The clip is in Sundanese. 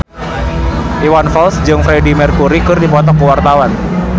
Iwan Fals jeung Freedie Mercury keur dipoto ku wartawan